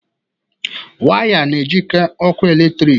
Waya na-ejikọ ọkụ eletrik.